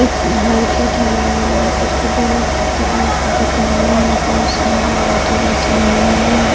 एक मार्केट है और मार्केट के दोनों तरफ दुकाने है बहुत सारे लाइटें जैसा --